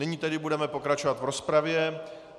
Nyní tedy budeme pokračovat v rozpravě.